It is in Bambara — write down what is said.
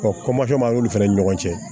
kɔmakɛ ma n'o fana ni ɲɔgɔn cɛ